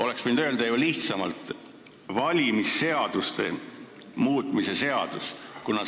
Oleks võinud öelda ju lihtsamalt: valimisseaduste muutmise seaduse eelnõu.